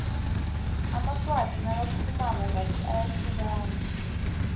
amaswati nakakhulumako ngathi ayathukana